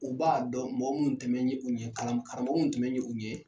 U b'a dɔn mɔgɔ minnu tɛmɛn bɛ ye u ɲɛ karamɔgɔw minnu tɛmɛn ye u ɲɛ.